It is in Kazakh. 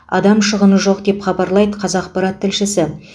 адам шығыны жоқ деп хабарлайды қазақпарат тілшісі